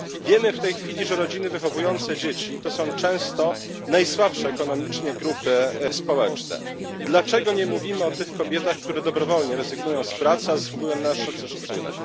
Wiemy, że w tej chwili rodziny wychowujące dzieci to często najsłabsze ekonomicznie grupy społeczne. Dlaczego nie mówimy o tych kobietach, które dobrowolnie rezygnują z pracy, a zasługują na nasz szacunek?